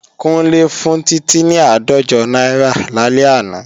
Kúnlé fún Títí ní àádọ́jọ náírà lálẹ́ àná